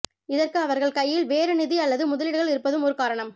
இதற்கு அவர்கள் கையில் வேறு நிதி அல்லது முதலீடுகள் இருப்பதும் ஒரு காரணம்